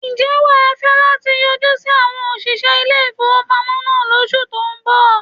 Ǹjẹ́ wà á fẹ́ láti yọjú sí àwon òsìṣẹ́ ilé ìfowópamọ́ náà lóṣù tó ń bọ̀